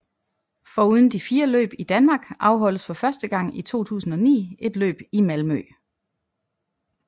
Foruden de fire løb i Danmark afholdes for første gang i 2009 et løb i Malmö